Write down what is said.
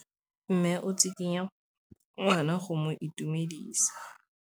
Mme o tsikitla ngwana go mo itumedisa.